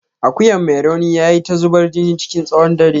Akuyan mai rauni yayi ta zubar jini chikin tsawon dare.